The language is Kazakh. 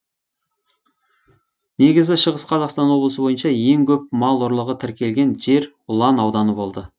негізі шығыс қазақстан облысы бойынша ең көп мал ұрлығы тіркелген жер ұлан ауданы болды